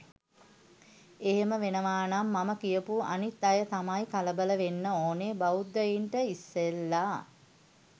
එහෙම වෙනවනම් මම කියපු අනිත් අය තමයි කලබල වෙන්න ඕනේ බෞද්ධයින්ට ඉස්සෙල්ලා.